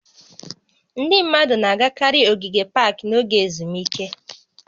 Ndị mmadụ na-agakarị ogige pak n'oge ezumike